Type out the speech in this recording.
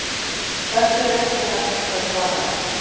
Þessu er ekki hægt að svara ennþá.